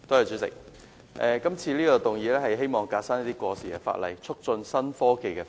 主席，今次的議案是"革新過時法例，促進創新科技發展"。